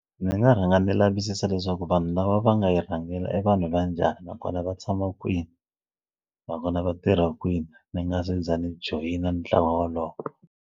Ndzi nga rhanga ni lavisisa leswaku vanhu lava va nga yi rhangela e vanhu va njhani nakona va tshama kwini nakona va tirha kwini ndzi nga se za ni joyina ntlawa wolowo.